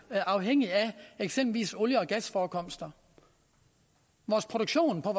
afhængige af eksempelvis olie og gasforekomster vores produktion på